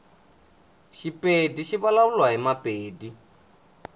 shipedi shivulavuliwa himapedi